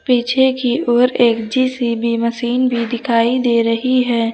पीछे की ओर एक जी _सी_बी मशीन भी दिखाई दे रही है।